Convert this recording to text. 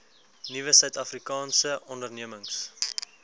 nuwe suidafrikaanse ondernemings